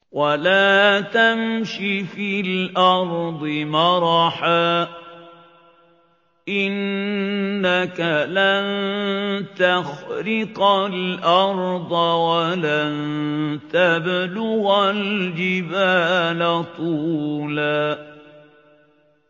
وَلَا تَمْشِ فِي الْأَرْضِ مَرَحًا ۖ إِنَّكَ لَن تَخْرِقَ الْأَرْضَ وَلَن تَبْلُغَ الْجِبَالَ طُولًا